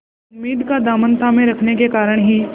उम्मीद का दामन थामे रखने के कारण ही